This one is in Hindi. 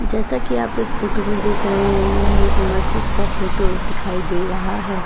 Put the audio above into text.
जैसा कि आप इस फोटो में देख रहे हैं यह एक मस्जिद का फोटो दिखाई दे रहा है।